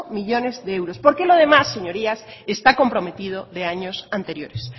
millónes de euros porque lo demás señorías está comprometido de años anteriores